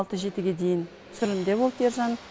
алты жетіге дейін түсірілімде болды ержан